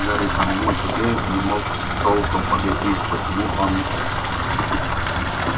гарри самому себе не мог толком объяснить почему он